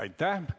Aitäh!